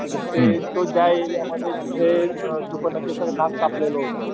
तर ते जो एरिया मध्ये जिथे शुर्पनखेच नाक कापलेलं होत,